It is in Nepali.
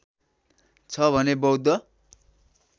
छ भने बौद्ध